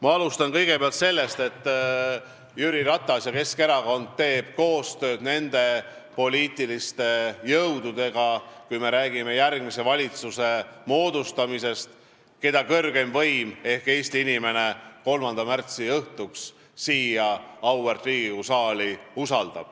Ma alustan sellest, et Jüri Ratas ja Keskerakond teevad koostööd nende poliitiliste jõududega – kui me räägime järgmise valitsuse moodustamisest –, keda kõrgeim võim ehk Eesti inimene 3. märtsil usaldab ja kes saavad tulla siia auväärt Riigikogu saali.